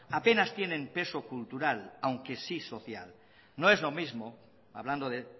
apenas tienen peso cultural aunque sí social no es lo mismo hablando de